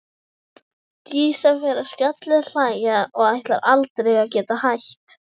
Dísa fer að skellihlæja og ætlar aldrei að geta hætt.